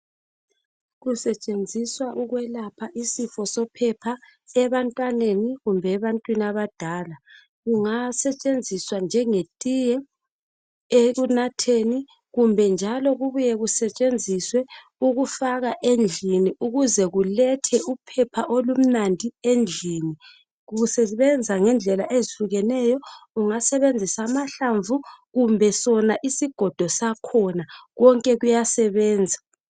Kusetshenziswa ukwelapha isifo sophepha ebantwaneni kumbe ebantwini abadala kunga setshenziswa njenge tiye eyekunatheni kumbe kubuye kusetshenziswe ukufaka endlini ukuze kulethe uphepha olumnandi endlini kusebenza ngendlela ezihlukeneyo unga sebenzisa amahlamvu kumbe sona isigoda sakhona konke kuya sebenza.